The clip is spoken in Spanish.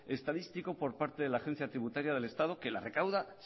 estadístico por parte de la agencia tributaria del estado que la recauda